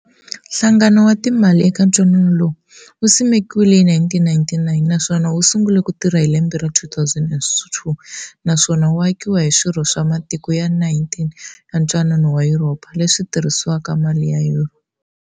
Nhlangano wa timali eka ntwanano lowu, wu simekiwile hi 1999 naswona wusungule kutirha hi lembe ra 2002, naswona wu akiwa hi swirho swa matiko ya 19 ya Ntwanano wa Yuropa, leswi tirhisaka mali ya Yuro.